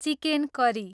chicken curry